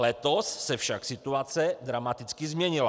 Letos se však situace dramaticky změnila.